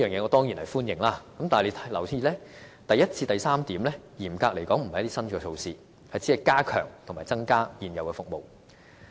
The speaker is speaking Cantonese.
我當然歡迎上述的措施，但大家要留意，第一至第三點嚴格來說不是新的措施，而是加強及增加現有服務。